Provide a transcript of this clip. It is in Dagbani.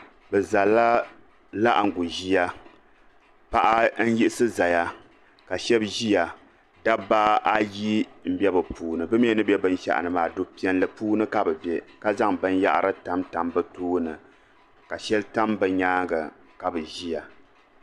Bɛ zalila laɣingu ʒia paɣa n yiɣisi zaya ka shɛba ʒiya dabba ayi m be bi puuni bɛ mi ni be binshaɣu ni maa fu piɛlli puuni ka bɛ be ka zaŋ binyahiri tamtam bɛ tooni ka shɛli tam bɛ nyaanga ka bɛ ʒiya.